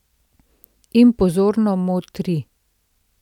In pozorno motri.